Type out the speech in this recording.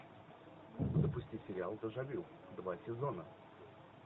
запусти сериал дежавю два сезона